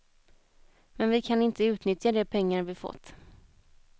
Men vi kan inte utnyttja de pengar vi fått.